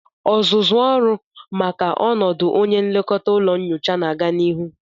Ọzụzụ ọrụ maka ọnọdụ onye nlekọta ụlọ nyocha na-aga n'ihu